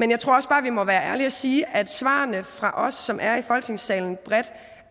men jeg tror også bare vi må være ærlige og sige at svarene fra os som er i folketingssalen bredt